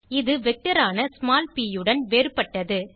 இது வெக்டர் ஆன ஸ்மால் ப் ஐயுடன் வேறுபட்டது